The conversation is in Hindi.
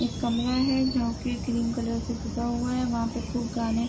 एक कमरा है जो कि क्रीम कलर से पुता हुआ है। वहाँ पर खूब गाने --